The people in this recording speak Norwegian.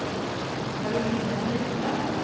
Caroline Fjellstad